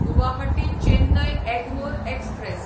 Guwahati Chennai Egmore express